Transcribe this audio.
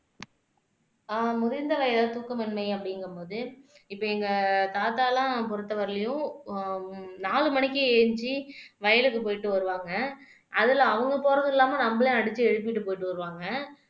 ஆஹ் முதிர்ந்த வயதில் தூக்கமின்மை அப்படிங்கும்போது இப்ப எங்க தாத்தா எல்லாம் பொறுத்தவரையிலும் நாலு மணிக்கு எந்திரிச்சு வயலுக்கு போயிட்டு வருவாங்க அதுல அவங்க போறதும் இல்லாம நம்மள அடிச்சு எழுப்பிட்டு போயிட்டு வருவாங்க